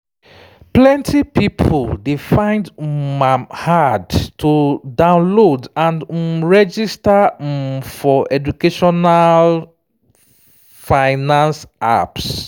plenty people dey find um am hard to download and um register um for educational finance apps